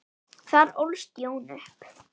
Þar ólst Jón upp.